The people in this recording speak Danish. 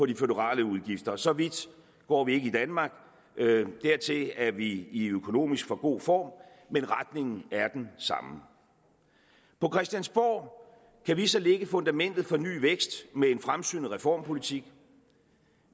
de føderale udgifter så vidt går vi ikke i danmark dertil er vi i økonomisk for god form men retningen er den samme på christiansborg kan vi så lægge fundamentet for ny vækst med en fremsynet reformpolitik